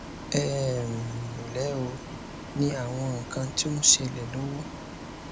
ẹ um ǹlẹ ó ní àwọn nǹkan tó ń ṣẹlẹ lọwọ